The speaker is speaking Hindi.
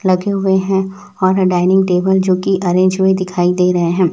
लगे हुए हैं और डाइनिंग टेबल जोकि अरेंज हुए दिखाई दे रहे हैं।